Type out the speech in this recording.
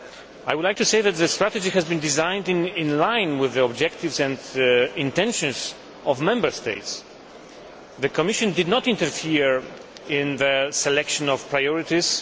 I would like to say that the strategy has been designed in line with the objectives and intentions of Member States. The Commission did not interfere in the selection of priorities.